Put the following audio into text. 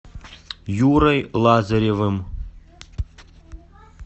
юрой лазаревым